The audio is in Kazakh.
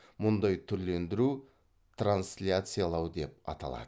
мұндай түрлендіру трансляциялау деп аталады